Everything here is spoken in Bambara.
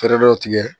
Fɛɛrɛ dɔ tigɛ